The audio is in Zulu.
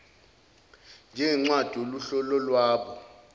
njengencwadi yohlu lwalabo